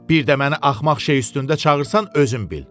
Bir də məni axmaq şey üstündə çağırsan özün bil.